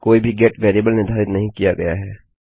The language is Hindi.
कोई भी गेट वेरिएबल निर्धारित नहीं की गई है